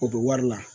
O bɛ wari la